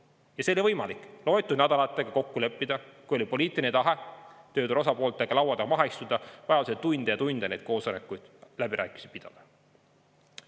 Ja see oli võimalik, loetud nädalatega kokku leppida, kui oli poliitiline tahe tööturu osapooltega laua taha maha istuda, vajadusel tunde ja tunde neid koosolekuid ja läbirääkimisi pidada.